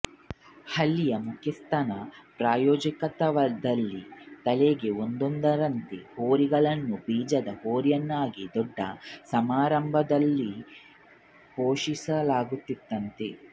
ಹಳ್ಳಿಯ ಮುಖ್ಯಸ್ಥನ ಪ್ರಾಯೋಜಕತ್ವದಲ್ಲಿ ತಳಿಗೆ ಒಂದೊಂದರಂತೆ ಹೋರಿಗಳನ್ನು ಬೀಜದ ಹೋರಿಯನ್ನಾಗಿ ದೊಡ್ಡ ಸಮಾರಂಭವೊಂದರಲ್ಲಿ ಘೋಷಿಸಲಾಗುತ್ತಿತ್ತಂತೆ